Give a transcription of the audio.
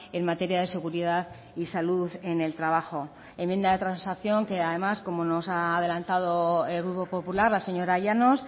en materia de seguridad y salud en el trabajo enmienda de transacción que además como nos ha adelantado el grupo popular la señora llanos